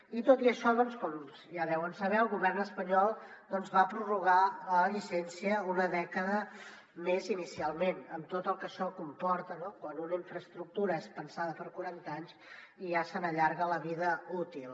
i tot i això com ja deuen saber el govern espanyol doncs va prorrogar la llicència una dècada més inicialment amb tot el que això comporta no quan una infraestructura és pensada per a quaranta anys i ja se n’allarga la vida útil